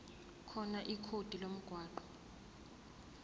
khona ikhodi lomgwaqo